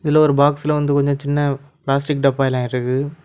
இதுல ஒரு பாக்ஸ்ல வந்து கொஞ்ச சின்ன பிளாஸ்டிக் டப்பா எல்லாம் இருக்கு.